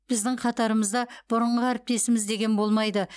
біздің қатарымызда бұрынғы әріптесіміз деген болмайды